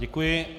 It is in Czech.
Děkuji.